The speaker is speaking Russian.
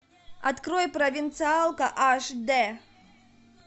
открой провинциалка аш д